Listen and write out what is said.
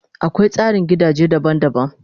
Akwai tsarin gidaje daban daban